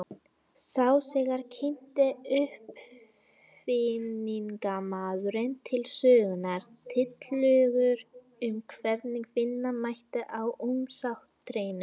Þá þegar kynnti uppfinningamaðurinn til sögunnar tillögur um hvernig vinna mætti á umsátrinu.